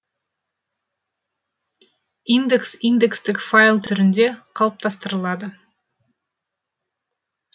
индекс индекстік файл түрінде қалыптастырылады